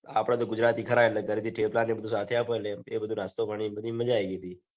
આપડે તો ગુજરાતી ખરા એટલે ઘરેથી થેપલા ને બધું સાથે આપે છે એ બધું નાસ્તો ગણીન બધી મજાઆયી ગઈ